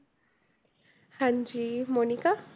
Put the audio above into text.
ਹਾਂਜੀ, ਮੋਨਿਕਾ?